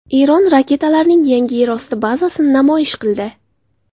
Eron raketalarning yangi yerosti bazasini namoyish qildi.